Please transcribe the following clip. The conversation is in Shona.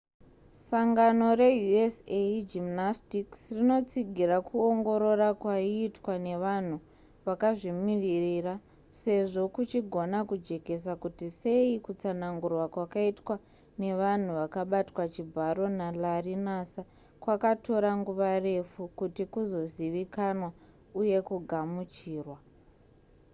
sangano reusa gymnastics rinotsigira kuongorora kwaiitwa nevanhu vakazvimirira sezvo kuchigona kujekesa kuti sei kutsanangurwa kwakaitwa nevanhu vakabatwa chibharo nalarry nassar kwakatora nguva refu kuti kuzozivikanwa uye kugamuchirwa